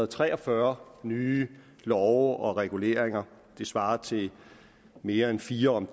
tre og fyrre nye love og reguleringer det svarer til mere end fire